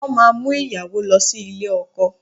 Wọ́n máa mú ìyàwó lọ sí ilé ọkọ